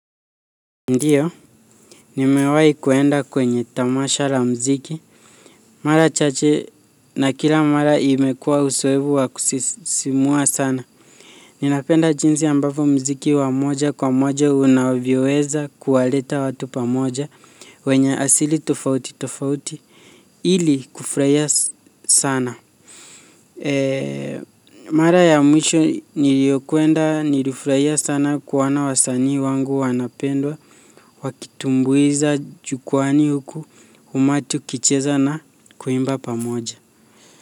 Ndiyo, nimewai kuenda kwenye tamasha la mziki. Mara chache na kila mara imekua usoevu wa kusisimua sana. Ninapenda jinsi ambapo mziki wa moja kwa moja unavyoweza kuwaleta watu pamoja. Wenye asili tofauti tofauti. Ili kufraia sana. Mara ya mwisho niliyokwenda nilifraia sana kuona wasanii wangu wanapendwa. Wakitumbuiza jukwani huku umati ukicheza na kuimba pamoja.